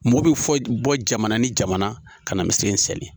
Mɔgɔ bɛ fɔ bɔ jamana ni jamana ka na misiri in seli.